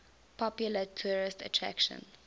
popular tourist attraction